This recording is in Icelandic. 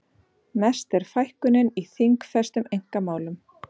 Mest er fækkunin í þingfestum einkamálum